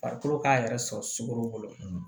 Farikolo k'a yɛrɛ sɔrɔ sukaro